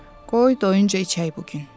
Qoy doyunca içək bu gün.